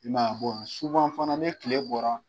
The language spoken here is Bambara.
I m"a ye bɔn fana ni tile bɔra.